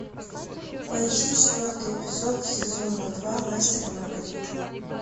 поищи четвертый эпизод сезона два мастер и маргарита